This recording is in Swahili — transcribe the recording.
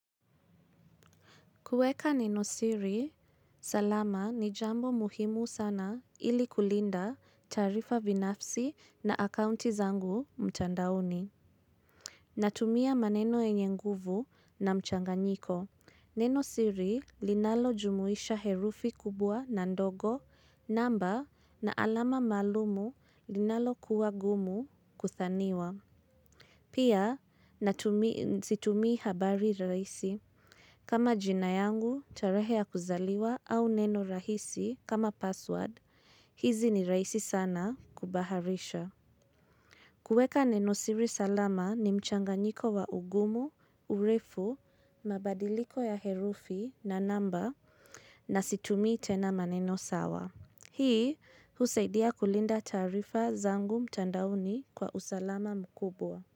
Kueka Neno siri, salama ni jambo muhimu sana ilikulinda taarifa binafsi na akaunti zangu mtandaoni. Natumia maneno yenye nguvu na mchanganyiko. Nenosiri linalojumuisha herufi kubwa na ndogo, namba na alama maalumu linalo kuwa gumu kuthaniwa. Pia, situmii habari rahisi. Kama jina yangu, tarehe ya kuzaliwa au neno rahisi kama password. Hizi ni raisi sana kubaharisha. Kueka neno siri salama ni mchanganyiko wa ugumu, urefu, mabadiliko ya herufi na namba na situmii tena maneno sawa. Hii, husaidia kulinda taarifa zangu mtandaoni kwa usalama mkubwa.